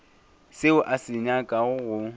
seo a se nyakago go